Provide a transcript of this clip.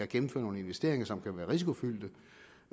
gennemføre nogle investeringer som kan være risikofyldte